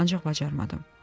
Ancaq bacarmadım.